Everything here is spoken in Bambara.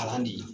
Kalan de ye